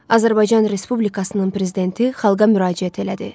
Azərbaycan Respublikasının Prezidenti xalqa müraciət elədi.